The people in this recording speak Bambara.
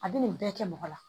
A bɛ nin bɛɛ kɛ mɔgɔ la